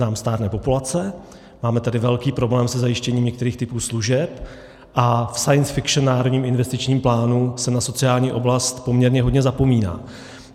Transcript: Nám stárne populace, máme tady velký problém se zajištěním některých typů služeb a v science fiction Národním investičním plánu se na sociální oblast poměrně hodně zapomíná.